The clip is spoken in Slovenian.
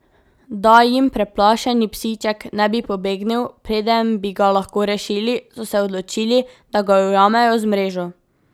Da jim preplašeni psiček ne bi pobegnil, preden bi ga lahko rešili, so se odločili, da ga ujamejo z mrežo.